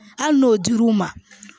Hali n'o dir'u ma